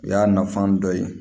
O y'a nafan dɔ ye